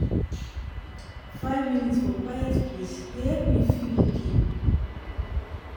five minute for quiet place dey help me feel okay.